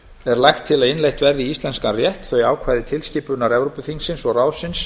er lagt til að innleitt verði í íslenskan rétt þau ákvæði tilskipunar evrópuþingsins og ráðsins